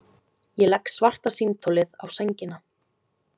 Ég legg svarta símtólið á sængina.